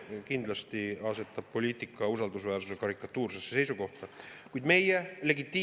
See kindlasti asetab poliitika usaldusväärsuse karikatuursesse.